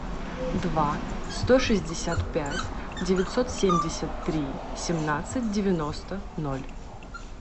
два сто шестьдесят пять девятьсот семьдесят три семнадцать девяносто ноль